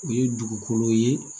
O ye dugukolo ye